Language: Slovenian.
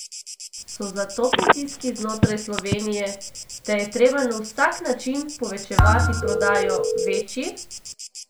So zato pritiski znotraj Slovenije, da je treba na vsak način povečevati prodajo, večji?